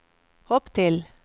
hopp til